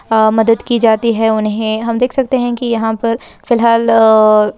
अ मदद की जा जाती है उन्हें हम देख सकते हैं की यहां पर फिलहाल आ --